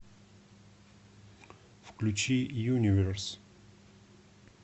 включи юниверс